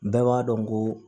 Bɛɛ b'a dɔn ko